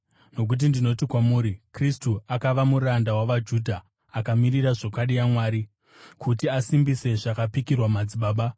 Nokuti ndinoti kwamuri Kristu akava muranda wavaJudha akamirira zvokwadi yaMwari, kuti asimbise zvakapikirwa madzibaba